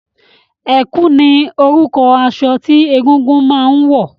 Ẹ̀kú ni orúkọ aṣọ tí egúngún máa ń wọ̀